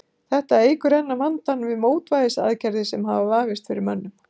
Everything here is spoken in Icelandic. Þetta eykur enn á vandann við mótvægisaðgerðir sem hafa vafist fyrir mönnum.